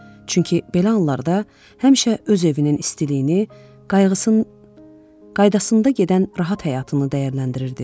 Çünki belə anlarda həmişə öz evinin istiliyini, qaydasında gedən rahat həyatını dəyərləndirirdi.